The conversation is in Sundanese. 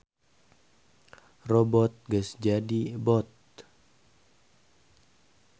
Robbot geus jadi bot.